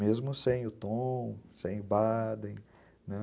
Mesmo sem o Tom, sem o Baden, né?